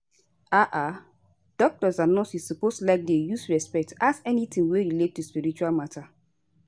ah ah doctors and nurses suppose like dey use respect ask anytin wey relate to spiritual matter